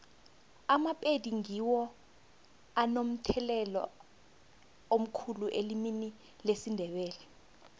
amapedi ngiwo anomthelela omkhulu elimini lesindebele